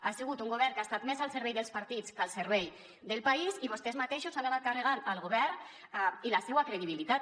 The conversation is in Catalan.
ha segut un govern que ha estat més al servei dels partits que al servei del país i vostès mateixos s’han anat carregant el govern i la seua credibilitat